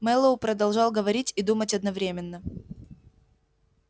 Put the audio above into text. мэллоу продолжал говорить и думать одновременно